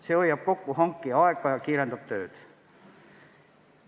See hoiab kokku hankija aega ja kiirendab tööd.